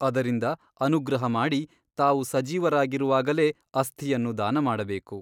ಅದರಿಂದ ಅನುಗ್ರಹ ಮಾಡಿ ತಾವು ಸಜೀವರಾಗಿರುವಾಗಲೇ ಅಸ್ಥಿಯನ್ನು ದಾನ ಮಾಡಬೇಕು.